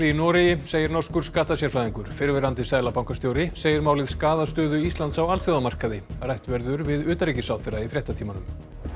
í Noregi segir norskur fyrrverandi seðlabankastjóri segir málið skaða stöðu Íslands á alþjóðamarkaði rætt verður við utanríkisráðherra í fréttatímanum